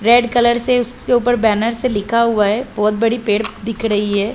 Red colour से उसके उपर बैनर से लिखा हुआ हैं बहुत बड़ी पेड़ दिख रही हैं।